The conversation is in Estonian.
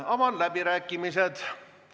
Avan läbirääkimised.